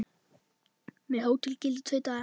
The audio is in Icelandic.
Með hótel gilda tveir dagar.